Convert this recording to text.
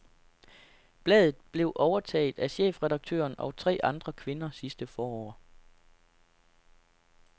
Bladet blev overtaget af chefedaktøren og tre andre kvinder sidste forår.